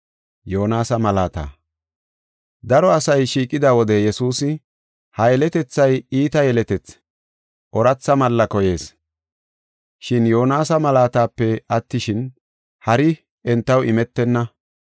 Daro asay shiiqida wode Yesuusi, “Ha yeletethay iita yeletethi; ooratha malla koyees. Shin Yoonasa malaatape attishin, hari entaw imetenna.